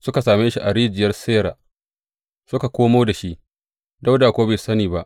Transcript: Suka same shi a rijiyar Sira suka komo da shi, Dawuda kuwa bai sani ba.